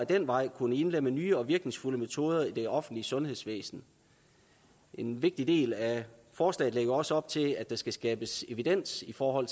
den vej kunne indlemme nye og virkningsfulde metoder i det offentlige sundhedsvæsen en vigtig del af forslaget lægger også op til at der skal skabes evidens for